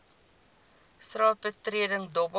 straat betreding dobbel